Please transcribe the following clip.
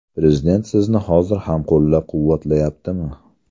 Prezident sizni hozir ham qo‘llab-quvvatlayaptimi?